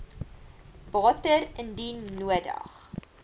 water indien nodig